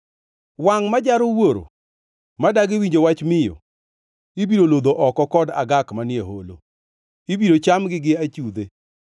“Wangʼ ma jaro wuoro, ma dagi winjo wach miyo, ibiro lodho oko kod agak manie holo, ibiro chamgi gi achudhe.